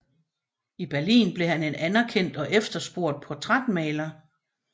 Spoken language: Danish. I Berlin blev han en anerkendt og efterspurgt portrætmaler